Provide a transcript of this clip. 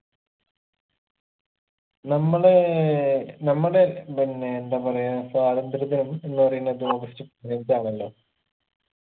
നമ്മളേ നമ്മുടെ പിന്നെ എന്താ പറയാ സ്വാതന്ത്ര്യ ദിനം എന്ന് പറയുന്നത് ഓഗസ്റ്റ് പതിനഞ്ചാണല്ലോ